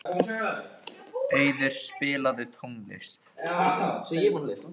Auður, spilaðu tónlist.